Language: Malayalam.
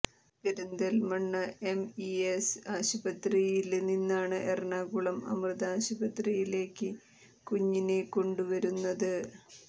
പെരിന്തല്മണ്ണ എംഇഎസ് ആശുപത്രിയില് നിന്നാണ് എറണാകുളം അമൃത ആശുപത്രിയിലേക്ക് കുഞ്ഞിനെ കൊണ്ടുവരുന്നത്